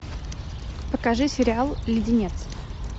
покажи сериал леденец